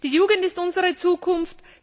Die Jugend ist unsere Zukunft.